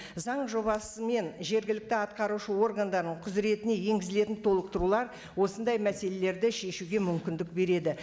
заң жобасы мен жергілікті атқарушы органдарының құзіретіне енгізілетін толықтырулар осындай мәселелерді шешуге мүмкіндік береді